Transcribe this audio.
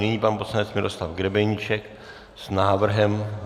Nyní pan poslanec Miroslav Grebeníček s návrhem.